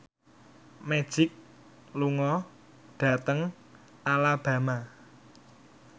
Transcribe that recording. Magic lunga dhateng Alabama